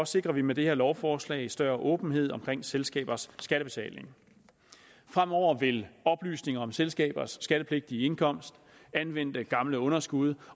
sikrer vi med det her lovforslag større åbenhed omkring selskabers skattebetaling fremover vil oplysninger om selskabers skattepligtige indkomst anvendte gamle underskud